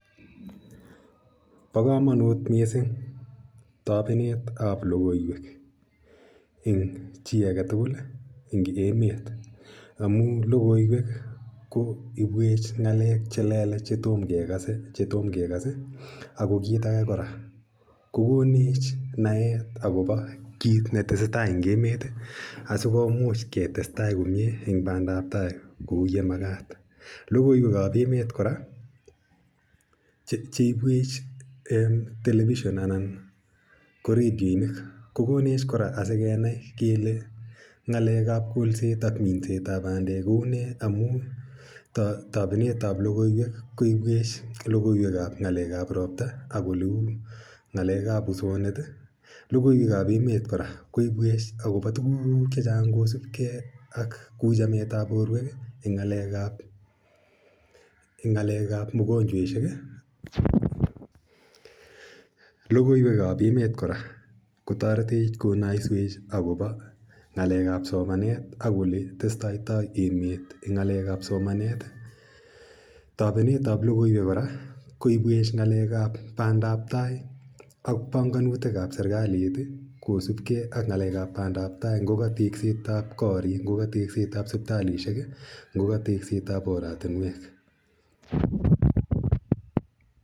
Pa kamanut missing' tapenet ap logoiwek eng' chi age tugul eng' emet amu logoiwek ko ipwech ng'alek che lelach che toma kekase. Ako kiit age kora, ko konech naet akopa kiit ne tese tai eng' emet asi komuch ketes tai komye eng' padap tai kou ye makat. Logoiwek ap emet kora cheipwech telepishon anan ko redionik ko konech kora asikenai kele ng'alek ap kolset ak minsetap pandek kou nee amu tapenet ap logoiwek logoiwek koipwech logoiwek ap ng'alek ap ropta ak oleu ng'alek ap usonet. Logoiwek ap emet kora koipwech akopa tuguk che chang' kosup ak kou chamet ap porwek eng' ng'alek ap mogonchweshek. Logoiwek ap emet kora kotaretech konaiseiwech akopa ng'alek ap somanet ak ole testaitai emet eng' ng'alek ap somanet. Tapenet ap lowkora koipwech ng'alek ap pandaptai ak panganutik ap serkalit kosupgei ak ng'alek ap pandaptai ngo ka tekset ap koriik, ngo ka tekset ap siptalishek , ngo ka tekset ap oratinwek.